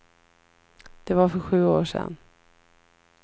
Det var för sju år sedan.